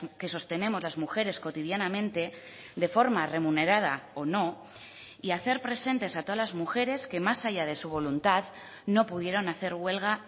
que sostenemos las mujeres cotidianamente de forma remunerada o no y hacer presentes a todas las mujeres que más allá de su voluntad no pudieron hacer huelga